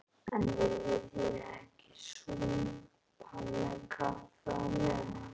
En viljið þér ekki súpa kaffi á meðan?